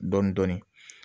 Dɔn dɔɔnin